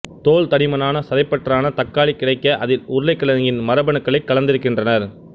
தோல் தடிமனான சதைப்பற்றான தக்காளி கிடைக்க அதில் உருளைக்கிழங்கின் மரபணுக்களை கலந்திருக்கின்றனர்